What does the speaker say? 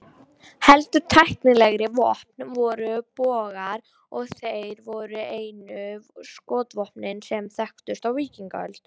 Heldur tæknilegri vopn voru bogar, og þeir voru einu skotvopnin sem þekktust á víkingaöld.